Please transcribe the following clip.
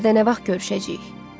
biz bir də nə vaxt görüşəcəyik?